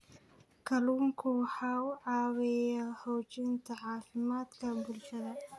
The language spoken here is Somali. Kalluunku waxa uu caawiyaa xoojinta caafimaadka bulshada.